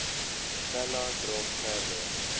pella dra verder